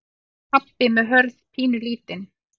Pabbi með Hörð pínulítinn.